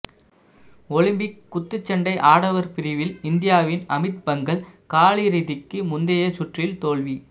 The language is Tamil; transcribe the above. ஒலிம்பிக் குத்துச்சண்டை ஆடவர் பிரிவில் இந்தியாவின் அமித் பங்கல் காலிறுதிக்கு முந்தைய சுற்றில் தோல்வி